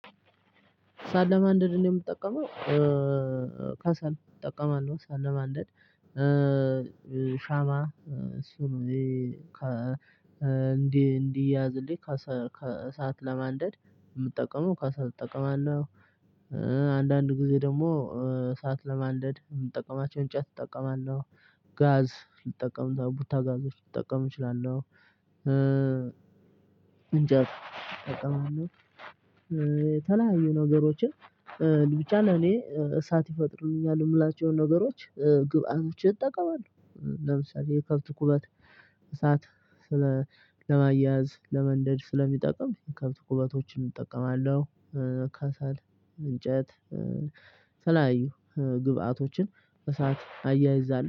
እሳት ለማንደድ እኔ የምጠቀመው ከሰል እጠቀማለሁ እሳት ለማንደድ ሻማ እሱንም እንዲህ እንዲያያዝልኝ ከሰል እሳት ለማንደድ የምጠቀመው ከሰል እጠቀማለሁ። አንዳንድ ጊዜ ደግሞ እሳት ለማንደድ የምጠቀማቸው እንጨት እጠቀማለሁ ጋዝ ልጠቀም ቡታጋዞች ልጠቀም እችላለሁ። እንጨት እጠቃምለሁ። የተለያዩ ነገሮችን ብቻ ለእኔ እሳት ይፈጥሩልኛል የምላቸውን ነገሮች ግብአቶችን እጠቀማለሁ። ለምሳሌ የከብት ኩበት እሳት ስለ ለማያያዝ ለመንደድ ስለሚጠቅም የከብት ኩበቶችን እጠቀማለሁ። ከሰል እንጨት የተለያዩ ግብአቶችን በእሳት አያይዛለሁ